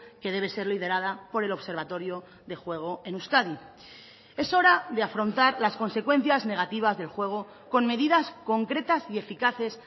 que debe ser liderada por el observatorio de juego en euskadi es hora de afrontar las consecuencias negativas del juego con medidas concretas y eficaces